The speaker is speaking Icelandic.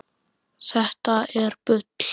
Þetta er bull.